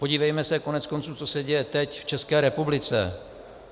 Podívejme se koneckonců, co se děje teď v České republice.